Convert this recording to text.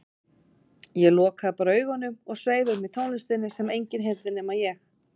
Ég lokaði bara augunum og sveif um í tónlistinni sem enginn heyrði nema ég.